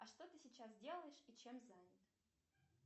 а что ты сейчас делаешь и чем занят